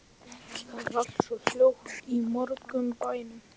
Það er allt svo hljótt í morgunblænum.